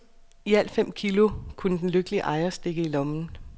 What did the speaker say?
I alt fem kilo kunne den lykkelige ejer stikke i lommen.